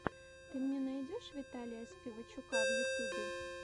ты мне найдешь виталия спивачука в ютюбе